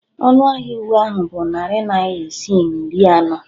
Ọnụ ahịa uwe ahụ bụ narị naira isii na iri anọ.